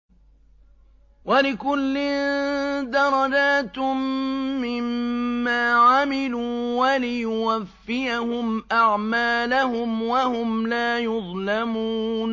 وَلِكُلٍّ دَرَجَاتٌ مِّمَّا عَمِلُوا ۖ وَلِيُوَفِّيَهُمْ أَعْمَالَهُمْ وَهُمْ لَا يُظْلَمُونَ